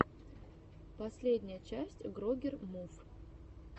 последняя часть грогер мув